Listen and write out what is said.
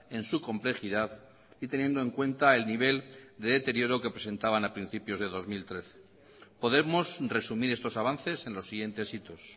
en su complejidad y teniendo en cuenta el nivel de deterioro que presentaban a principios de dos mil trece podemos resumir estos avances en los siguientes hitos